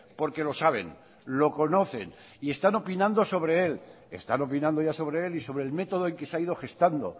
porque lo saben lo conocen y están opinando sobre él están opinando ya sobre él y sobre el método en que se ha ido gestando